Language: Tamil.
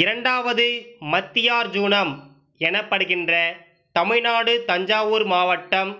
இரண்டாவது மத்தியார்ஜுனம் எனப்படுகின்ற தமிழ்நாடு தஞ்சாவூர் மாவட்டம்